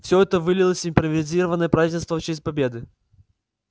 все это вылилось в импровизированное празднество в честь победы